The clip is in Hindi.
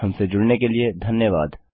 हमसे जुड़ने के लिए धन्यवाद